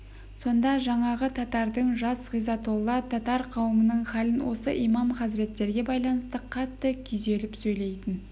сонда жаңағы татардың жас ғизатолла татар қауымының халін осы имам хазіреттерге байланысты қатты күйзеліп сөйлейтін